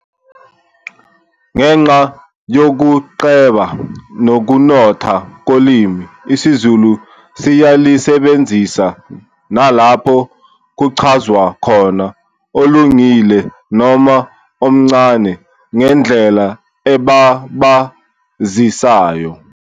Ngenxa yokuceba nokunotha kolimi isiZulu siyalisebenzisa nalapho kuchazwa khona olungile noma omncane ngandlela ebabazisayo.